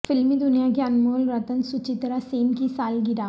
فلمی د نیا کی انمول رتن سچتراسین کی سالگرہ